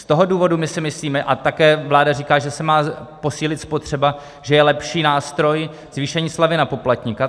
Z toho důvodu my si myslíme, a také vláda říká, že se má posílit spotřeba, že je lepší nástroj zvýšení slevy na poplatníka.